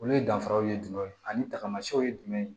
Olu danfaraw ye jumɛn ye ani tagamasiw ye jumɛn ye